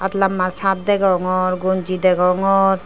aat lamba shirt degongor gonji degongor.